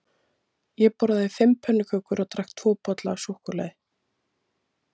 Ég borðaði fimm pönnukökur og drakk tvo bolla af súkkulaði.